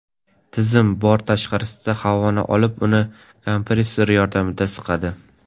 Tizim bort tashqarisidagi havoni olib, uni kompressorlar yordamida siqadi.